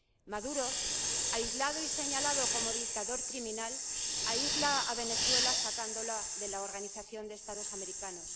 Maduro, aislado y señalado como dictador criminal, aísla a Venezuela sacándola de la Organización de Estados Americanos.